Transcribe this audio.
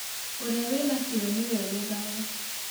Ũrĩa wĩna kĩyo, nĩ we ũgethaga